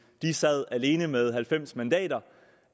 de sad alene med halvfems mandater